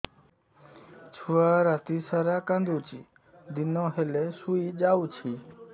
ଛୁଆ ରାତି ସାରା କାନ୍ଦୁଚି ଦିନ ହେଲେ ଶୁଇଯାଉଛି